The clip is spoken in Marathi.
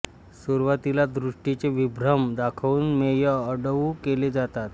सुरुवातीला दृष्टीचे विभ्रम दाखवून मेय अडवू केले जातात